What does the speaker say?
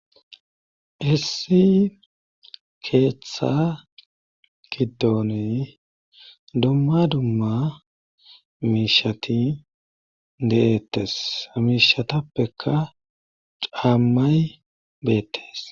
issi keeththa giddooni dumma dumma miishati deettes miishatappeka caammay beettes